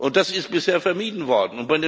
Das ist bisher vermieden worden.